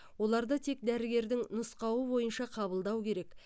оларды тек дәрігердің нұсқауы бойынша қабылдау керек